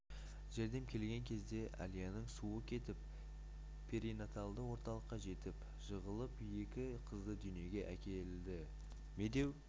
жәрдем келген кезде әлияның суы кетіп перинаталды орталыққа жетіп жығылып екі қызды дүниеге әкелді медеу